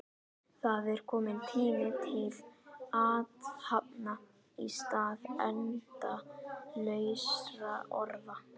Það er kominn tími til athafna í stað endalausra orða.